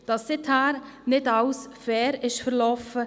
Seither ist nicht alles fair verlaufen.